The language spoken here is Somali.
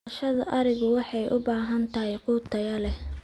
Dhaqashada arigu waxay u baahan tahay quud tayo leh.